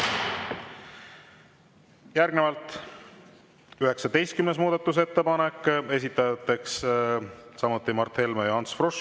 Järgnevalt 19. muudatusettepanek, esitajateks samuti Mart Helme ja Ants Frosch.